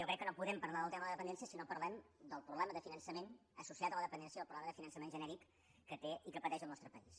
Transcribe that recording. jo crec que no podem parlar del tema de la dependència si no parlem del problema de finançament associat a la dependència del problema de finançament genèric que té i que pateix el nostre país